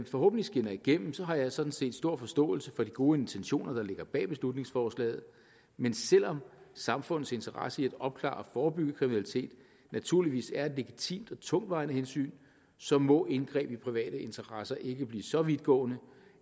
forhåbentlig skinner igennem har jeg sådan set stor forståelse for de gode intentioner der ligger bag beslutningsforslaget men selv om samfundets interesse i at opklare og forebygge kriminalitet naturligvis er et legitimt og tungtvejende hensyn så må indgreb i private interesser ikke blive så vidtgående